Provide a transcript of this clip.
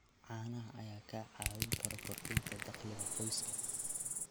Caanaha ayaa kaa caawin kara kordhinta dakhliga qoyska.